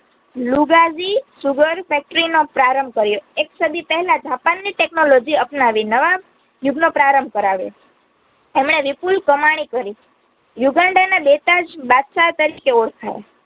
Lugazi SugarFactory નો પ્રારંભ કર્યો એકસદી પહલાજ જાપાનની technology અપનાવી નવા યુગનો પ્રારંબ કરાવ્યો એમણે વિપુલ કામણિ કરી યુગાંડાને બેતાજ બાદશાહ તરીકે ઓળખાય